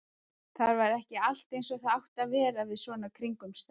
Það var ekki allt eins og það átti að vera við svona kringumstæður.